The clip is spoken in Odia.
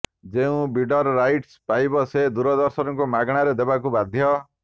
ଯେଉଁ ବିଡର ରାଇଟ୍ସ ପାଇବ ସେ ଦୂରଦର୍ଶନକୁ ମାଗଣାରେ ଦେବାକୁ ବାଧ୍ୟ